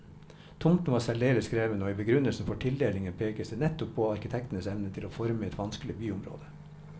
Tomten var særdeles krevende, og i begrunnelsen for tildelingen pekes det nettopp på arkitektenes evne til å forme et vanskelig byområde.